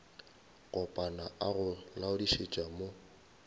kopana a go laodišetša mo